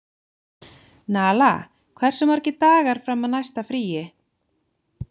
Nala, hversu margir dagar fram að næsta fríi?